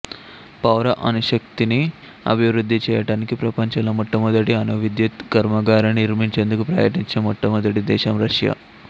పౌర అణుశక్తిని అభివృద్ధి చేయటానికి ప్రపంచంలో మొట్టమొదటి అణు విద్యుత్ కర్మాగారాన్ని నిర్మించేందుకు ప్రయత్నించిన మొట్టమొదటి దేశం రష్యా